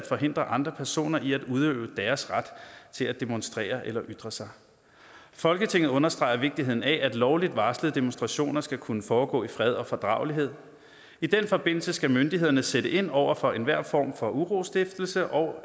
forhindrer andre personer i at udøve deres ret til at demonstrere eller ytre sig folketinget understreger vigtigheden af at lovligt varslede demonstrationer skal kunne foregå i fred og fordragelighed i den forbindelse skal myndighederne sætte ind over for enhver form for urostiftelse og